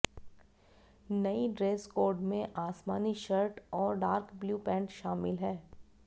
नई dress code में आसमानी शर्ट और डार्क ब्लू पेंट शामिल है